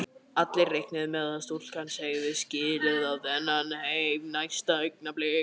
Allir reiknuðu með að stúlkan segði skilið við þennan heim næsta augnablik.